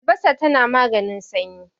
albasa tana maganin sanyi